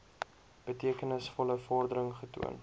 betekenisvolle vordering getoon